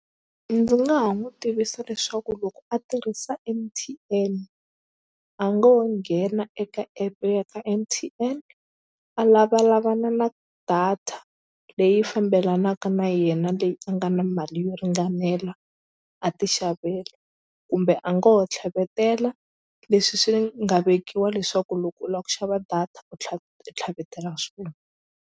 Ndzi nga ha n'wi tivisa leswaku loko a tirhisa M_T_N a ngo ho nghena eka app ya ka M_T_N a lavalavana na data leyi fambelanaka na yena leyi a nga na mali yo ringanela a ti xavela kumbe a nga ho tlhavetela leswi swi nga vekiwa leswaku loko u la ku xava data u u tlhavetela swona.